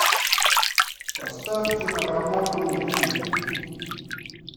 поставь киноработу вий